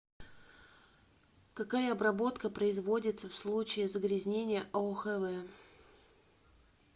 какая обработка производится в случае загрязнения аохв